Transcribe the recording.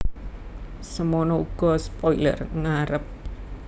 Semana uga spoiler ngarep